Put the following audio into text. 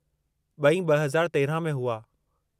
ब॒ई 2013 में हुआ।